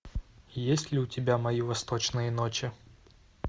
есть ли у тебя мои восточные ночи